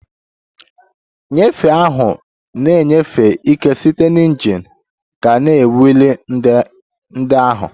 Nnyefe ahụ na-enyefe ike site na injin gaa na wiil ndị ahụ